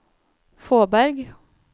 Fåberg